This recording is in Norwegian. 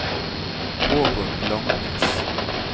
Ågot Langnes